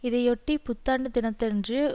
இதையொட்டி புத்தாண்டு தினத்தன்று